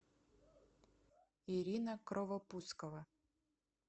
ирина кровопускова